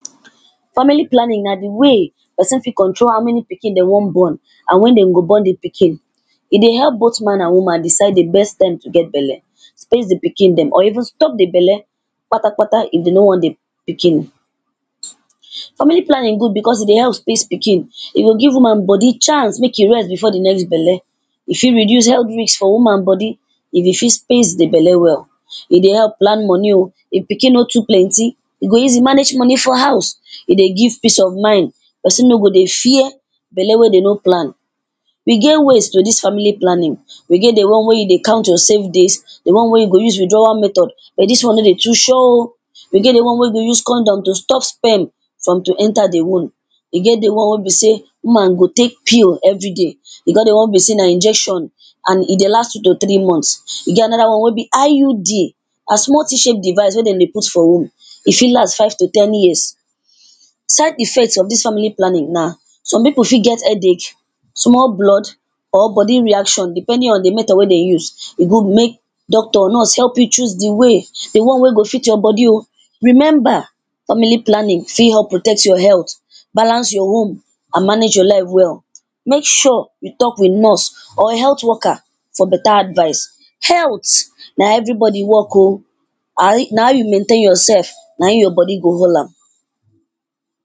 Family planning na di way pesin fit control how many pikin dey wan born and wen dey go born di pikin, e dey help both man and woman decide di best time to get belle, space di pikin dem or even stop di belle patapata if dem no want di pikin. Family planning good becos e dey help space pikin, e go give woman body chance make e rest before di next belle, e fit reduce health risks for woman body e dey fit space di belle well, e dey help plan money oh if pikin no too plenty e go easy manage money for house, e dey give peace of mind pesin no go dey fear belle wey dey no plan. E get ways to dis family planning, e get di one wey you dey count your safe days, di one wey you go use withdrawal method but dis one no dey too sure oh, e dey di one wey you go use condom to stop sperm from to enter di womb, e get di one wey be sey woman go take pill everyday e get di one wey be sey na injection and e dey last two to three months and e get anoda one wey be IUD na small titchy device wey dem dey put for womb e fit last five to ten years. side effects of dis family planning na some pipu fit get headache, small blood or body reaction depending on di method wey dem use, e good make doctor, nurse help you choose di way, di one wey go fit your body oh, remember family planning fit help protect your health, balance your womb and manage your life well make sure you talk with nurse or health worker for better advice. Health na everybody work oh, na how you maintain yoursef naim your body go hold am.